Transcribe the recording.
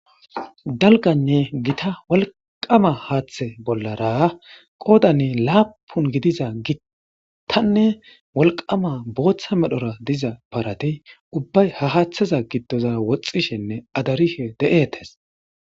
dalganne gita walqama haaththe bollara qoodanne laapun gidiza gittanne walqama booththa medhora diza parati ubbay ha haaththaza gittoza woxxishenne adarihe de7ettes